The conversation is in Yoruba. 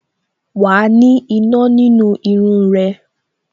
Wa ni iná nínú irun rẹ